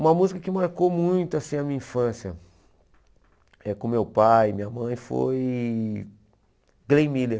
Uma música que marcou muito assim a minha infância, é com meu pai e minha mãe, foi Glenn Miller.